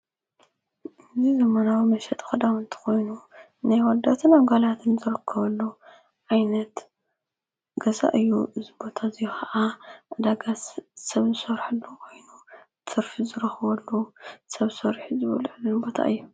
እዙ ዘመናዊ መሸጢ ኸዳዉንቲ ኾይኑ ናይ አወዳትን ኣጓላትን ዘረክበሉ ኣይነት ገዛ እዩ ዝቦተ እዙይ ኸዓ ደገሥ ሰብ ዝሰርሕሉ ኾይኑ ትርፊ ዘረኽወሉ ሰብ ሰሪሕ ዝበሉዐሉ ቦታ እዩ።